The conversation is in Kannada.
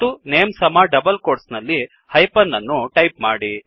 ಮತ್ತು ನೇಮ್ ಸಮ ಡಬಲ್ ಕೋಟ್ಸ್ ನಲ್ಲಿ -ಹೈಪನ್ ಅನ್ನು ಟೈಪ್ ಮಾಡಿ